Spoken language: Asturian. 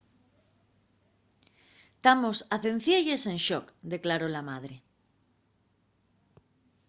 tamos a cencielles en shock” declaró la madre